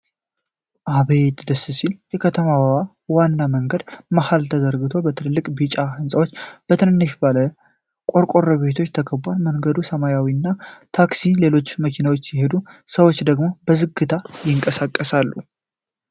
አቤት ደስ ሲል! የከተማዋ ዋና መንገድ በመሀል ተዘርግቶ፣ በትልልቅ ቢጫ ህንፃዎችና በትንንሽ ባለ ቆርቆሮ ቤቶች ተከቧል። በመንገዱ ላይ ሰማያዊ ታክሲ እና ሌሎች መኪኖች ሲሄዱ፣ ሰዎች ደግሞ በዝግታ ይንቀሳቀሳሉ።